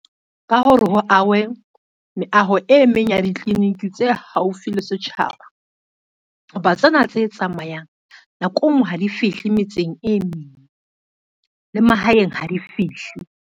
Ka hore ho ahwe, meaho e meng ya ditliliniki tse haufi le setjhaba. Ho ba tsena tse tsamayang nako e ngwe ha di fihle metseng e meng le mahaeng ha di fihle.